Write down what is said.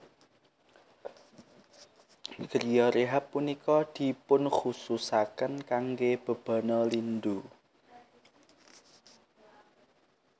Griyo rehab punika dipunkhususaken kangge bebana lindu